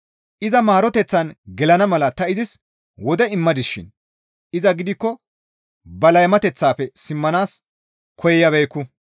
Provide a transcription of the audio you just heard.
Iza maaroteththan gelana mala ta izis wode immadisishin iza gidikko ba laymateththaafe simmanaas koyabeekku.